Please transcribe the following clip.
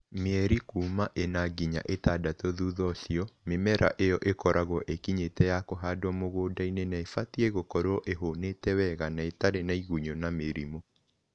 Mieri kuuma ĩna nginya ĩtandatũ thutha ũcio, mĩmera ĩyo ĩkoragwo ĩkinyĩte ya kũhandwo mũgũnda-inĩ na ibatiĩ gũkorwo ĩhonete wega na ĩtarĩ na igunyũ na mĩrimũ